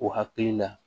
U hakili la